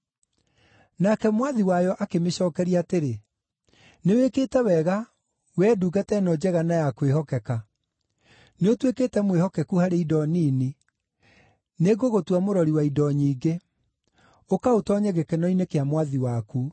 “Nake mwathi wayo akĩmĩcookeria atĩrĩ, ‘Nĩwĩkĩte wega, wee ndungata ĩno njega na ya kwĩhokeka! Nĩũtuĩkĩte mwĩhokeku harĩ indo nini; nĩngũgũtua mũrori wa indo nyingĩ. Ũka ũtoonye gĩkeno-inĩ kĩa mwathi waku!’